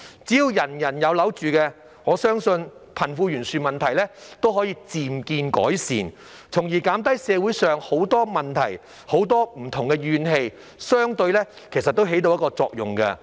只要人人有樓住，我相信貧富懸殊問題也可以漸見改善，從而減低社會很多問題及不同的怨氣，相對來說也起到一定作用。